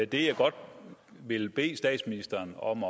det jeg godt vil bede statsministeren om